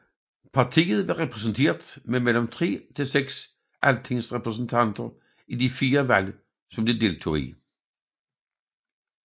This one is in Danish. Partiet var repræsenteret med mellem 3 til 6 altingsrepræsentanter i de fire valg som det deltog i